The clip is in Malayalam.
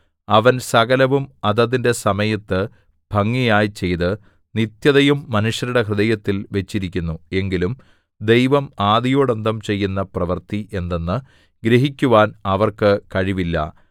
അവൻ സകലവും അതതിന്റെ സമയത്ത് ഭംഗിയായി ചെയ്ത് നിത്യതയും മനുഷ്യരുടെ ഹൃദയത്തിൽ വച്ചിരിക്കുന്നു എങ്കിലും ദൈവം ആദിയോടന്തം ചെയ്യുന്ന പ്രവൃത്തി എന്തെന്ന് ഗ്രഹിക്കുവാൻ അവർക്ക് കഴിവില്ല